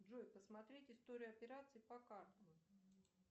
джой посмотреть историю операций по картам